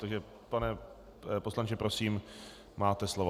Takže pane poslanče, prosím, máte slovo.